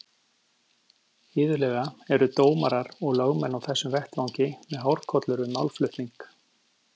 Iðulega eru dómarar og lögmenn á þessum vettvangi með hárkollur við málflutning.